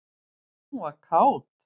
Hún var kát.